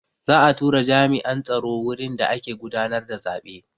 Za'a tura jami'an tsaro wurin da ake gudanar da zaɓe.